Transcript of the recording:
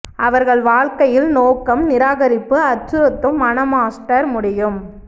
அவர்கள் வாழ்க்கையில் நோக்கம் நிராகரிப்பு அச்சுறுத்தும் மன மாஸ்டர் முடியும்